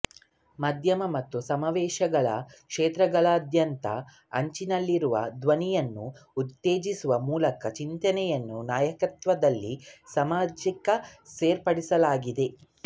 ಮಾಧ್ಯಮ ಮತ್ತು ಸಮಾವೇಶಗಳ ಕ್ಷೇತ್ರಗಳಾದ್ಯಂತ ಅಂಚಿನಲ್ಲಿರುವ ಧ್ವನಿಯನ್ನು ಉತ್ತೇಜಿಸುವ ಮೂಲಕ ಚಿಂತನೆಯ ನಾಯಕತ್ವದಲ್ಲಿ ಸಾಮಾಜಿಕ ಸೇರ್ಪಡೆಯಾಗಿದೆ